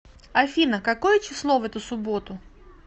афина какое число в эту субботу